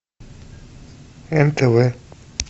нтв